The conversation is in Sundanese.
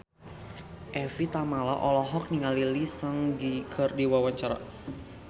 Evie Tamala olohok ningali Lee Seung Gi keur diwawancara